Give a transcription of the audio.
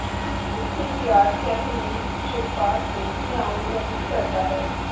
ਉਸ ਦੇ ਪਿਆਰ ਕੈਥਰੀਨ ਜਜ਼ਬਾਤ ਨੂੰ ਲਿਆਉਣ ਨਹੀ ਕਰਦਾ ਹੈ